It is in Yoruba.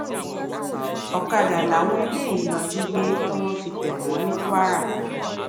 ọkadà làwọn eléyìí lọọ jí gbé tọwọ fi tẹ wọn ní kwara